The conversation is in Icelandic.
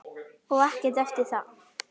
Og ekkert eftir það.